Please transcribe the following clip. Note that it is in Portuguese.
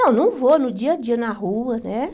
Não, não vou no dia a dia, na rua, né?